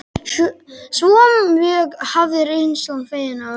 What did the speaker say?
Svo mjög hafði reynslan fengið á okkur.